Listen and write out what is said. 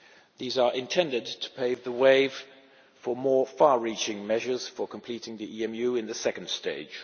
These are intended to pave the way for more far reaching measures for completing the EMU in the second stage.